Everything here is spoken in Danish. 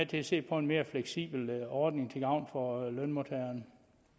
til at se på en mere fleksibel ordning til gavn for lønmodtagerne